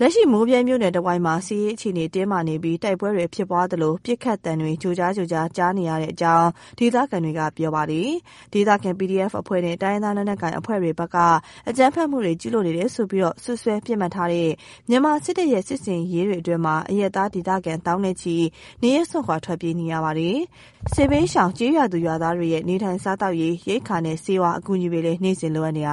လက်ရှိ မိုးဗြဲမြို့နယ် တဝိုက်မှာ စစ်ရေးအခြေအနေ တင်းမားနေပြီး တိုက်ပွဲတွေ ဖြစ်ပွားသလို ပစ်ခတ်မှုတွေ ကြားနေရကြောင်း ဒေသခံတွေက ပြောပါတယ်။ ဒေသခံ PDF အဖွဲ့တွေ၊ တိုင်းရင်းသား လက်ကိုင်အဖွဲ့တွေဘက်က အကြမ်းဖက်မှုတွေ ကျုးလွန်နေတယ်ဆိုပြီး စွပ်စွဲ ပစ်မှတ်ထားတဲ့ မြန်မာစစ်တပ်ရဲ့ စစ်ဆင်ရေးတွေအတွင်း အရပ်သား ဒေသခံ သောင်းနဲ့ချီ နေရပ်စွန့်ခွာ ထွက်ပြေးနေရပါတယ်။ စစ်ဘေးရှောင် ကျေးရွာသူ ကျေးရွာသားတွေရဲ့ နေထိုင်စားသောက်ရေး ရိက္ခာနဲ့ ဆေးဝါး အကူအညီတွေလည်း နေ့စဉ် လိုအပ်နေပါတယ်။